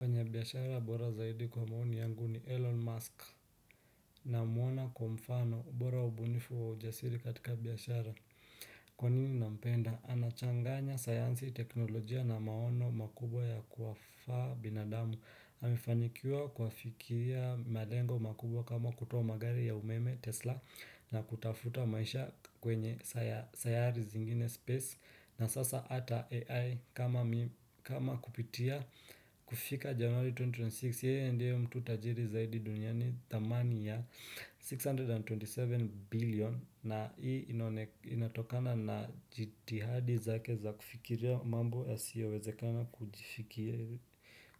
Mwenye biashara bora zaidi kwa maoni yangu ni Elon Musk namwona kuwa mfano bora ubunifu wa ujasiri katika biashara Kwa nini nampenda? Anachanganya sayansi teknolojia na maono makubwa ya kuwafaa binadamu amefanikiwa kuwafikiria malengo makubwa kama kutoa magari ya umeme Tesla na kutafuta maisha kwenye sayari zingine space na sasa ata AI kama kupitia kufika January 2026 yeye ndiye mtu tajiri zaidi duniani thamani ya 627 billion na hii inatokana na jitihadi zake za kufikiria mambo yasiowezekana